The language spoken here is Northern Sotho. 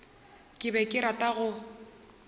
ke be ke rata go